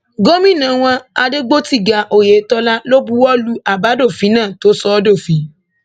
gómìnà wọn adégbòtiga oyetola ló buwọ lu àbádòfin náà tó sọ ọ dófin